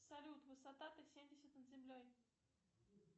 салют высота т семьдесят над землей